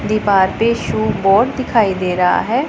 दीवार पे shoe board दिखाई दे रहा है।